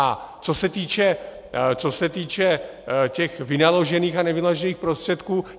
A co se týče těch vynaložených a nevynaložených prostředků.